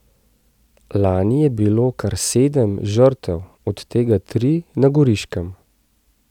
Lani je bilo kar sedem žrtev, od tega tri na Goriškem.